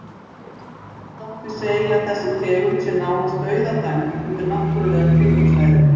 Það má því segja að þessi tegund sé nánast dauðadæmd undir náttúrulegum kringumstæðum.